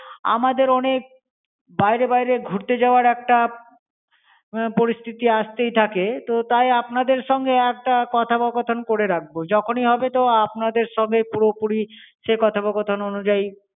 আমাদের অনেক বাইরে বাইরে ঘুরতে যাবার একটা পরিস্থিতি আসতেই থাকে। তো তাই আপনাদের সঙ্গে একটা কথোপকথন করে রাখবো। যখনই হবে তো আপনাদের সঙ্গে পুরোপুরি সে কথোপকথন অনুযায়ী